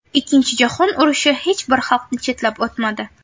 Ikkinchi jahon urushi hech bir xalqni chetlab o‘tmadi.